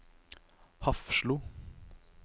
Hafslo